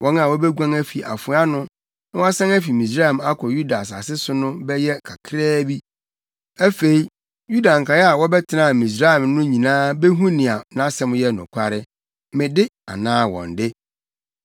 Wɔn a wobeguan afi afoa ano na wɔasan afi Misraim akɔ Yuda asase so no bɛyɛ kakraa bi. Afei Yuda nkae a wɔbɛtenaa Misraim no nyinaa behu nea nʼasɛm yɛ nokware; me de anaa wɔn de.